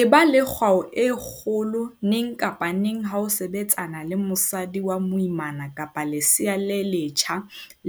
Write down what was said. Eba le kgwao e kgolo neng kapa neng ha o sebetsana le mosadi wa moimana kapa lesea le letjha